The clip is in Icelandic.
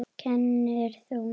Kennir þú?